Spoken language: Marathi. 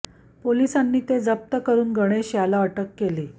पोलिसांनी ते जप्त करुन गणेश याला अटक केली